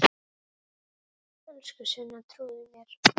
Elsku Sunna, trúðu mér!